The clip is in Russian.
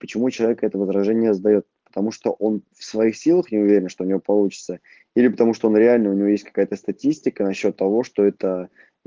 почему человек это возражение задаёт потому что он в своих силах не уверен что у него получится или потому что он реально у него есть какая-то статистика насчёт того что это